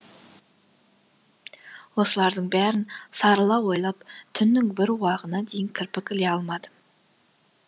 осылардың бәрін сарыла ойлап түннің бір уағына дейін кірпік іле алмадым